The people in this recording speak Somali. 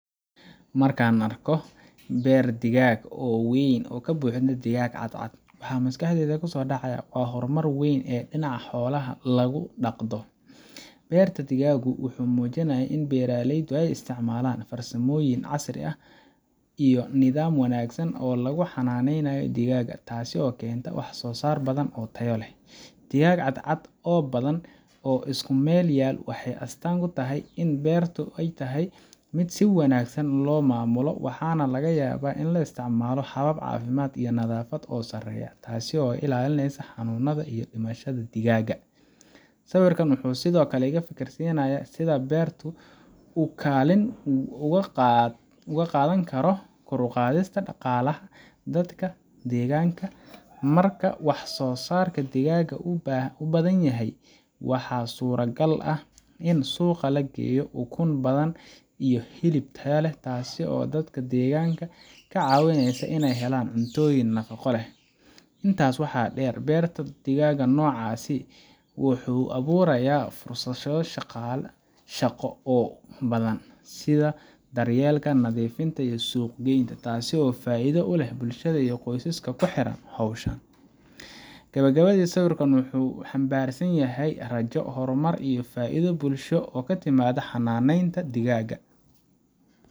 Marka aan arko beer digaag oo weyn oo buuxa digaag cad-cad, waxa maskaxdayda ku soo dhacaya horumar weyn oo dhinaca xoolaha lagu dhaqdo. beerta-digaagu wuxuu muujinayaa in beeraleydu ay isticmaalaan farsamooyin casri ah iyo nidaam wanaagsan oo lagu xanaaneynayo digaagga, taasoo keenta wax soo saar badan oo tayo leh. Digaag cad-cad oo badan oo isku meel yaal waxay astaan u tahay in beerta yahay mid si wanaagsan loo maamulo, waxaana laga yaabaa in la isticmaalo habab caafimaad iyo nadaafad oo sareeya, taasoo ka ilaalinaysa xanuunada iyo dhimashada digaagga. Sawirkan wuxuu sidoo kale iga fikirinayaa sida beerta uu kaalin uga qaadan karo kor u qaadista dhaqaalaha dadka deegaanka. Marka wax soo saarka digaagga uu badan yahay, waxaa suuragal ah in suuqa la geeyo ukun badan iyo hilib tayo leh, taasoo dadka deegaanka ka caawinaysa inay helaan cuntooyin nafaqo leh. Intaa waxaa dheer, beerta noocaas ah wuxuu abuurayaa fursado shaqo oo badan, sida daryeelka, nadiifinta, iyo suuq-geynta, taasoo faa’iido u leh bulshada iyo qoysaska ku xiran xoolahaan. Gabagabadii, sawirkan wuxuu xambaarsan yahay rajo, horumar iyo faa’iido bulsho oo ka timaadda xanaaneynta digaaga